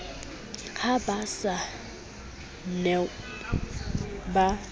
ha ba sa new ba